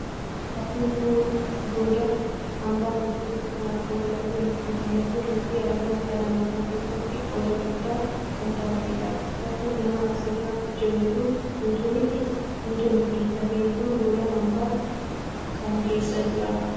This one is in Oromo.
Fakkiin kun goda hambaa keessatti kan argamu lafee Luusiiti. Lafeen Luusii argama dhala namaa keessatti qooda guddaa kan taphateedha. Lafeen namaa asirra jiruu kun guutuu miti. Lafeen kun gola hambaa kam keessa jira?